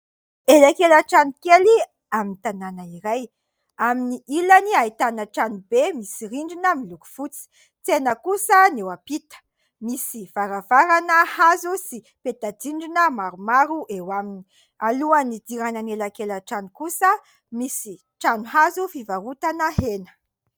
Elakela-trano kely amin'ny tanàna iray, amin'ny ilany ahitana trano be misy rindrina miloko fotsy ; tsena kosa no eo ampita, misy varavarana hazo sy peta-drindrina maromaro eo aminy. Alohan'ny hidirana ny elakela-trano kosa, misy trano hazo fivarotana hena.